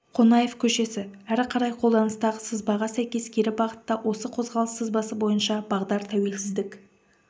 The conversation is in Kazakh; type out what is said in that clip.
қонаев көшесі әрі қарай қолданыстағы сызбаға сәйкес кері бағытта осы қозғалыс сызбасы бойынша бағдар тәуелсіздік